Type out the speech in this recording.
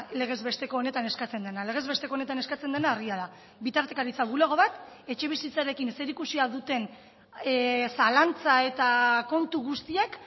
legez besteko honetan eskatzen dena legez besteko honetan eskatzen dena argia da bitartekaritza bulego bat etxebizitzarekin zerikusia duten zalantza eta kontu guztiak